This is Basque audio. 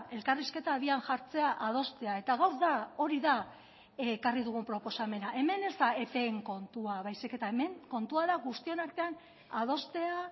elkarrizketa abian jartzea adostea eta gaur da hori da ekarri dugun proposamena hemen ez da epeen kontua baizik eta hemen kontua da guztion artean adostea